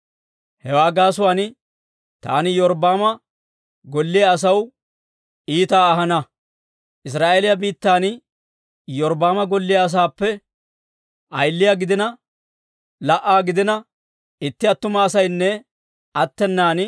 «‹ «Hewaa gaasuwaan taani Iyorbbaama golliyaa asaw iitaa ahana. Israa'eeliyaa biittan Iyorbbaama golliyaa asaappe ayiliyaa gidina la"a gidiina, itti attuma asaynne attenan